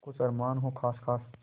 कुछ अरमान हो जो ख़ास ख़ास